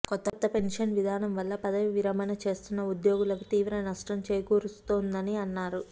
కొత్త పెన్షన్ విధానం వల్ల పదవీ విరమణ చేస్తున్న ఉద్యోగులకు తీవ్ర నష్టం చేకూరుస్తోందని అన్నారు